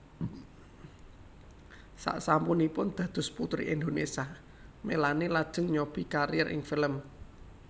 Sasampunipun dados Puteri Indonésia Melanie lajeng nyobi kariér ing film